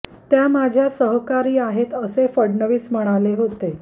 त्या माझ्या सहकारी आहेत असे फडणवीस म्हणाले होते